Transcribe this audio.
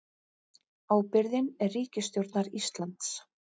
Ábyrgðin er ríkisstjórnar Íslands